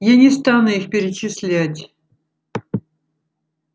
я не стану их перечислять